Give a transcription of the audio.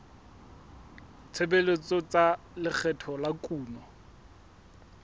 tshebetso tsa lekgetho la kuno